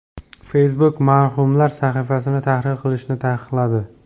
Facebook marhumlar sahifasini tahrir qilishni taqiqladi.